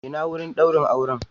Ina wurin daurin aure?